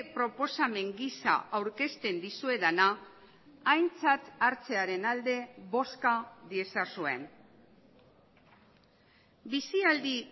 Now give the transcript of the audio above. proposamen gisa aurkezten dizuedana aintzat hartzearen alde bozka diezazuen bizialdi